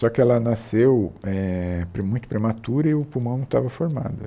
Só que ela nasceu eh pre muito prematura e o pulmão não estava formado.